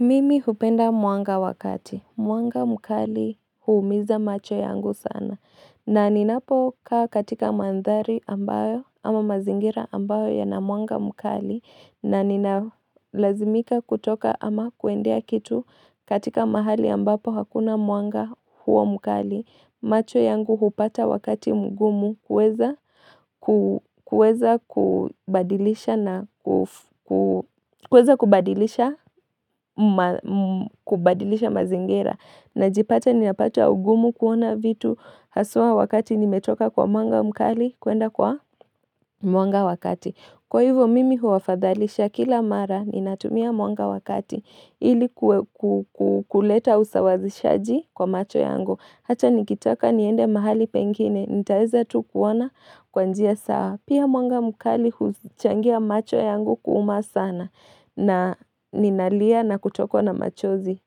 Mimi hupenda mwanga wakati. Mwanga mkali huumiza macho yangu sana. Na ninapo kaa katika mandhari ambayo ama mazingira ambayo ya na mwanga mkali. Na nina lazimika kutoka ama kuendea kitu katika mahali ambapo hakuna mwanga huo mukali. Macho yangu hupata wakati mgumu kweza kubadilisha mazingira. Najipata ni napata ugumu kuona vitu haswa wakati nimetoka kwa mwanga mkali kwenda kwa mwanga wakati. Kwa hivyo mimi huwa fadhalisha kila mara ni natumia mwanga wakati. Hili kuleta usawazishaji kwa macho yangu. Hata nikitaka niende mahali pengine, nitaeza tu kuona kwanjia sawa. Pia mwanga mkali huchangia macho yangu kuuma sana na ninalia na kutokwa na machozi.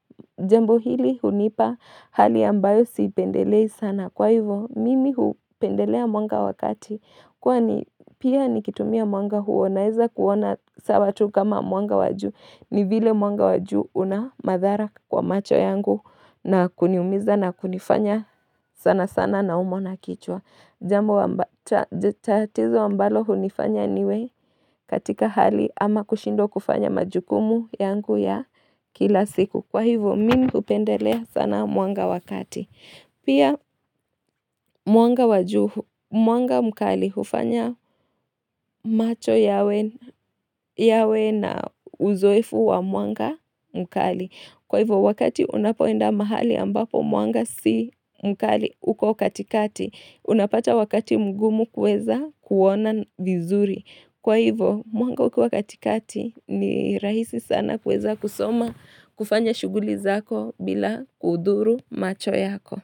Jambo hili hunipa hali ambayo siipendelei sana. Kwa hivyo, mimi hupendelea mwanga wakati. Kwani pia nikitumia mwanga huo naweza kuona sawa tu kama mwanga wajuu ni vile mwanga waju una madhara kwa macho yangu na kuniumiza na kunifanya sana sana na umwa na kichwa. Tatizo ambalo hunifanya niwe katika hali ama kushindwa kufanya majukumu yangu ya kila siku. Kwa hivyo, mimi upendelea sana mwanga wakati. Pia mwanga wajuu, mwanga mkali, ufanya macho yawe na uzoefu wa mwanga mkali. Kwa hivo, wakati unapoenda mahali ambapo mwanga si mkali uko katikati, unapata wakati mgumu kweza kuona vizuri. Kwa hivo, mwanga ukiwa katikati ni rahisi sana kuweza kusoma kufanya shuguli zako bila kudhuru macho yako.